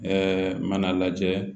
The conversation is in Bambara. Ɛɛ mana lajɛ